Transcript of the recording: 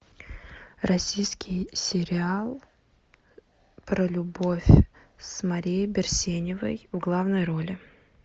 российский сериал про любовь с марией берсеневой в главной роли